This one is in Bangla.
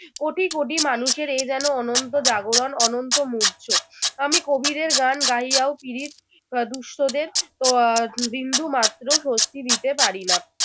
কোটি কোটি মানুষের এ যেনো অনন্ত জাগরণ অনন্ত মূর্ছ। আমি কবীরের গান গাহিয়াও পিরিত আহ দুষ্টদের আহ বিন্দু মাত্র স্বস্তি দিতে পারি না